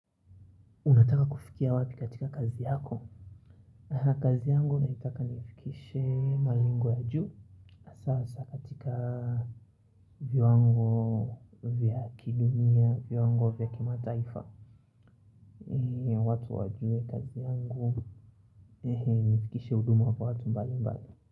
Unataka kufikia wapi katika kazi yako? Kazi yangu naitaka niifikishe malingwa ya juu. Sasa katika viwango vya kidunia, viwango vya kimataifa. Watu wajue kazi yangu nifikishe hudumu kwa watu mbali mbali.